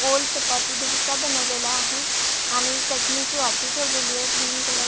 मधी पण तीन स्कुट्या दिसत आहे गोल चपाती डोसा बनवलेला आहे आणि चटणी ची वाटी ठेवलेली ये ग्रीन कलर --